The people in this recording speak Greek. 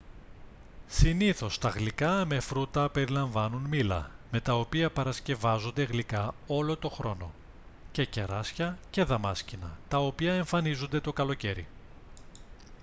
συνήθως τα γλυκά με φρούτα περιλαμβάνουν μήλα με τα οποία παρασκευάζονται γλυκά όλο τον χρόνο και κεράσια και δαμάσκηνα τα οποία εμφανίζονται το καλοκαίρι